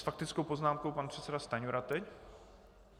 S faktickou poznámkou pan předseda Stanjura teď.